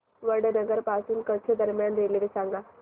वडनगर पासून कच्छ दरम्यान रेल्वे सांगा